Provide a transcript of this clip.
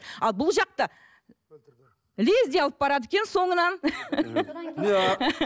ал бұл жақта лезде алып барады екен соңынан